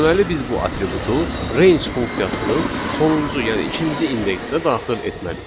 Deməli biz bu atributu range funksiyasının sonuncu, yəni ikinci indeksə daxil etməliyik.